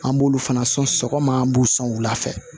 An b'olu fana sɔn sɔgɔma an b'u sɔn wula fɛ